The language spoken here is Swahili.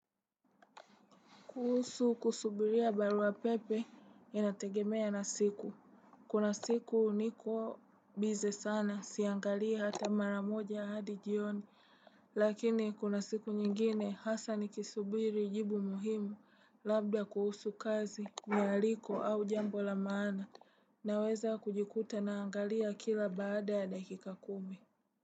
Kuhusu kusubiria barua pepe inategemea na siku. Kuna siku niko busy sana, siangalii ata maramoja hadi jioni. Lakini kuna siku nyingine hasa nikisubiri jibu muhimu labda kuhusu kazi, mialiko au jambo la maana. Naweza kujikuta naangalia kila baada ya dakika kumi.